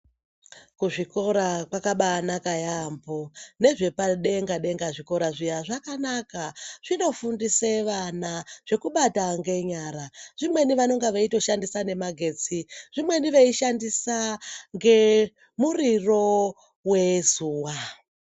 Kuzvikora kwakabanaka yaamho , nezvepadenga denga zvikora zviya zvakanaka , zvinofundise vana zvekubata ngenyara, zvimweni vanonga veitoshandisa nemagetsi , zvimweni veishandisa ngemuriro wezuwa.